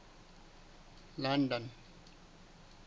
london